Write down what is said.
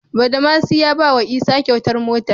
Badamasi ya bawa isa kyautar mota